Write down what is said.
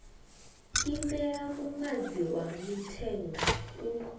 imela muṅadzi wa mithenga u